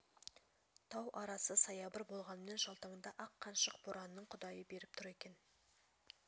тау арасы саябыр болғанмен жалтаңда ақ қаншық боранның құдайы беріп тұр екен